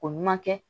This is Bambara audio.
Ko ɲuman kɛ